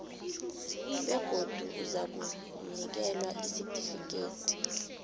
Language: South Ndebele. begodu uzakunikelwa isitifikhethi